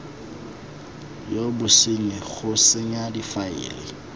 ya bosenyi go senya difaele